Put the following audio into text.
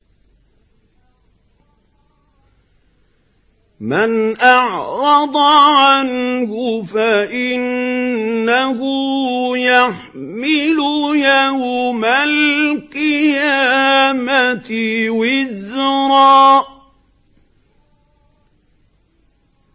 مَّنْ أَعْرَضَ عَنْهُ فَإِنَّهُ يَحْمِلُ يَوْمَ الْقِيَامَةِ وِزْرًا